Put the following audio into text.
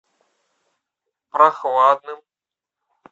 прохладным